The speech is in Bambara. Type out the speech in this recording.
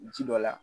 Ji dɔ la